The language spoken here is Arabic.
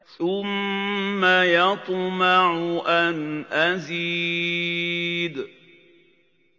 ثُمَّ يَطْمَعُ أَنْ أَزِيدَ